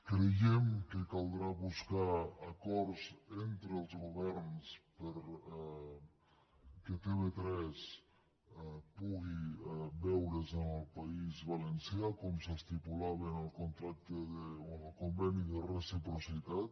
creiem que caldrà buscar acords entre els governs perquè tv3 pugui veure’s al país valencià com s’estipulava en el conveni de reciprocitat